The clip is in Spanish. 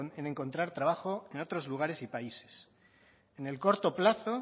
en encontrar trabajo en otros lugares y países en el corto plazo